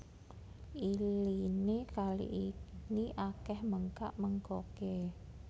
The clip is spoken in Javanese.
Iliné kali ini akèh mènggak ménggoké